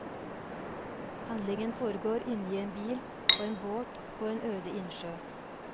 Handlingen foregår inne i en bil, på en båt og på en øde innsjø.